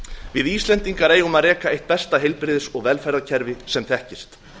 við íslendingar eigum að reka átt besta heilbrigðis og velferðarkerfi sem þekkist